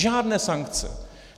Žádné sankce!